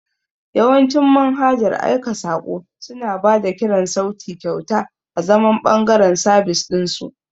Yawancin manhajar aika saƙo suna ba da kiran sauti kyauta azaman ɓangaren sabis ɗin su.